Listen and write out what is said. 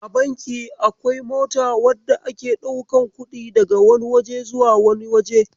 A banki akwai mota wadda ake daukan kudi daga wani waje zuwa wani waje.